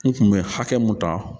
N kun be hakɛ mun ta